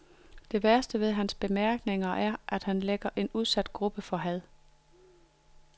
Det værste ved hans bemærkninger er, at han lægger en udsat gruppe for had.